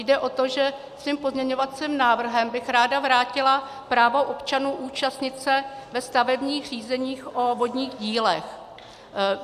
Jde o to, že svým pozměňovacím návrhem bych ráda vrátila právo občanů účastnit se ve stavebních řízeních o vodních dílech.